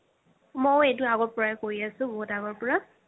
মইও এইটো কৰি আছো বহুত আগৰ পৰাই